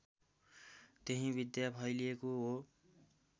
त्यही विद्या फैलिएको हो